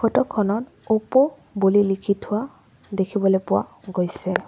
Photo খনত অপ' বুলি লিখি থোৱা দেখিবলৈ পোৱা গৈছে।